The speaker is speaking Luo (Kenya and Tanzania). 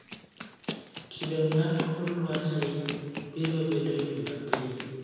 Kido mar kor lwasi biro bedo Jumapil